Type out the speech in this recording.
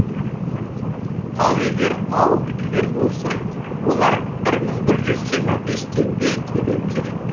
ал егер ауылдікілер болса олар бір мың бір жүз жиырма бес теңге төлеу керек